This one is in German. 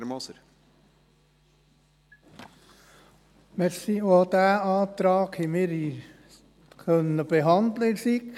der SiK. Auch diesen Antrag haben wir in der SiK behandeln können.